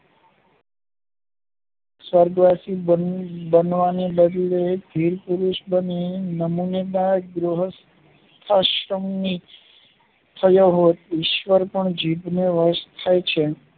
સ્વર્ગવાસી બનવાને બદલે વીરપુરુષ બની નમાન્યતા ગૃહસ્થ અશમની થયો હોત ઈશ્વર પણ જીભને વસ્ત થાય છે